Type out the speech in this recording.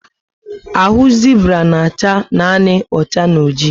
Ahụ Zibra na acha nanị ocha and oji